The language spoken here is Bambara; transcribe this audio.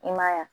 I ma ye wa